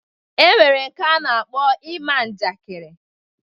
E nwere nke a na-akpọ ima njakịrị.